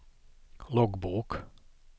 loggbok